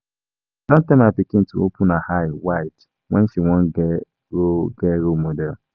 I don tell my pikin to open her eye wide wen she wan get role get role model